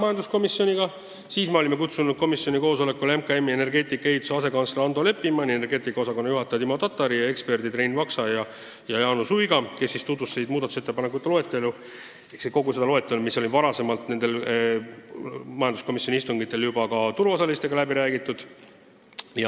Sellele istungile olime kutsunud Majandus- ja Kommunikatsiooniministeeriumi energeetika asekantsleri Ando Leppimani, energeetika osakonna juhataja Timo Tatari ning eksperdid Rein Vaksa ja Jaanus Uiga, kes tutvustasid muudatusettepanekuid ehk kogu seda loetelu, mis oli varem nendel majanduskomisjoni istungitel juba turuosalistega läbi räägitud.